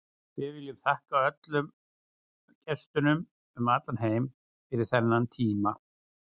Við viljum þakka öllum gestunum um allan heim fyrir þennan tíma.